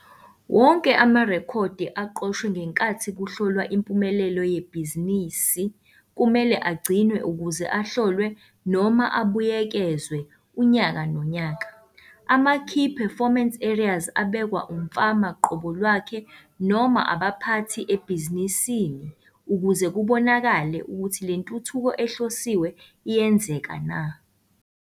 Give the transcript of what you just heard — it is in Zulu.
Wonke amarekhodi aqoshiwe ngenkathi kuhlolwa impumelelo yebhizinisi kumele agcinwe ukuze ahlolwe noma abuyekezwe unyaka nonyaka. Amakey performance areas abekwa umfama qobo lwakhe noma abaphathi ebhizinisini ukuze kubonakale ukuthi le ntuthuko ehlosiwe iyenzeka na.